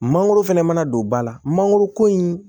Mangoro fɛnɛ mana don ba la mangoro ko in